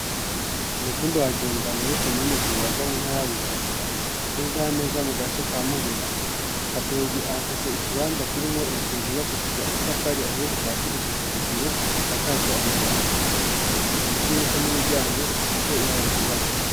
Ku mutumba wajenda muri ko minegwibaga mwuntara yabujumbura nezaneza mu gace ka mubira kaduyi afise ikibanza kirimwo inzu yubakishije amatafari ahiye kuvasi gushika hejuru isakaje amabati ifise imidirisha n'imiryango bisiye ibaararyirabura.